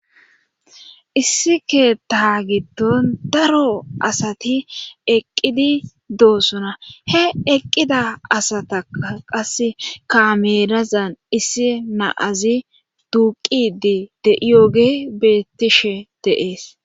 Issi keta giton daro asati eqqidi doosuna he eqqida asataa qase kamerazan issi naazi duuqidi de yooge bettishe deees